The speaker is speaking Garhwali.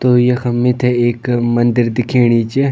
तो यखम मीथे एक मंदिर दिखेणी च।